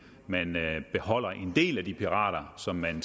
man beholder en del af de pirater som man